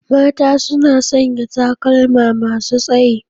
Mata suna sanya takalma masu tsayi.